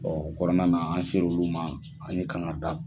O kɔnɔna na an ser'olu ma, an ye kangarida